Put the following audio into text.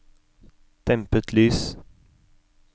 dempet lys